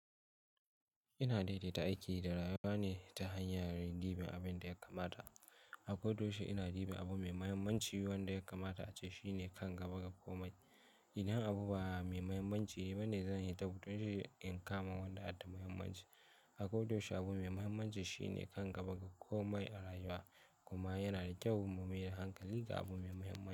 Ina daidaita aiki da rayuwa neh ta hanyar yin ɗiban abin da ya kamata. A kodayaushe ina duban abu mai mahimmanci wanda ya kamata ace shine kan gaba daga komai. Idan abu ba mai mahimmanci ba ne zan fita in kama wanda yake da mahimmanci. A kodayaushe abu mai mahimmanci shine kan gaba a komai a rayuwa. Kuma yana da kyau mu maye hankali ga abu mai mahimmanci.